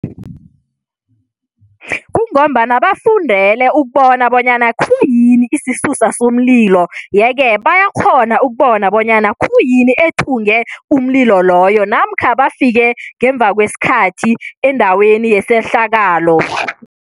Kungombana bafundele ukubona bonyana khuyini isisusa somlilo yeke bayakghona ukubona bonyana khuyini ethunge umlilo loyo namkha bafike ngemva kwesikhathi endaweni yesehlakalo.